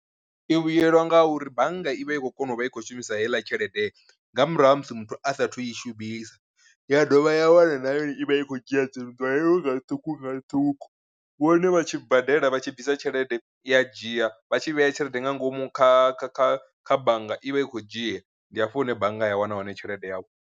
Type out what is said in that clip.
I vhuyelwa ngauri bannga ivha i khou kona u vha i khou shumisa heiḽa tshelede nga murahu ha musi muthu a sathu i shumisa, ya dovha ya wana na yone ivha i khou dzhia dzi nzwalelo nga ṱhukhu nga ṱhukhu vhone vha tshi badela vha tshi bvisa tshelede i a dzhia vha tshi vhea tshelede nga ngomu kha kha kha kha bannga i vha i khou dzhia, ndi hafho hune bannga ya wana hone tshelede yavho.